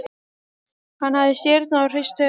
Hann hafði stirðnað og hrist höfuðið.